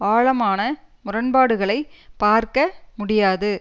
ஆழமான முரண்பாடுகளைப் பார்க்க முடியாது